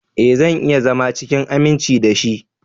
Ee, zan iya zama cikin aminci da shi.